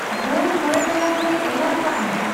ᱵᱷᱳᱨ ᱢᱚᱬᱮ ᱴᱟᱲᱟᱝ ᱨᱮ ᱮᱞᱟᱨᱢ ᱠᱟᱜ ᱢᱮ